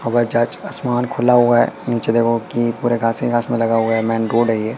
हवाई जहाज आसमान खुला हुआ है नीचे देखोगे कि पूरे घास ही घास लगा हुआ है मेंन रोड है ये।